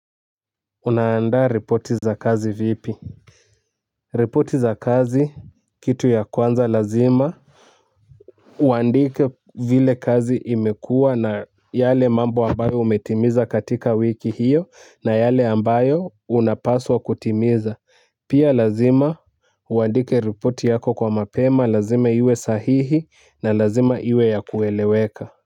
Unaandaa ripoti za kazi vipi. Ripoti za kazi, kitu ya kwanza nazima. Kuandika vile kazi imekuwa na yale mambo ambayo umetimiza katika wiki hiyo na yake ambayo unapaswa kutimiza, pia lazima uandike ripoti yako mapema, kazima iwe sahihi na lazima iwe ya kueleweka.